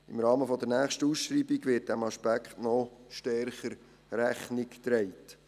Im Rahmen der nächsten Ausschreibung wird diesem Aspekt noch stärker Rechnung getragen.